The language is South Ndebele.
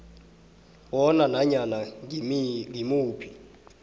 bona nanyana ngimuphi